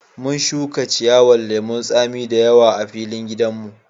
Mun shuka ciyawan lemun tsami da yawa a filin gidan mu.